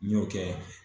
N y'o kɛ